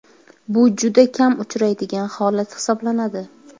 Bu juda kam uchraydigan holat hisoblanadi.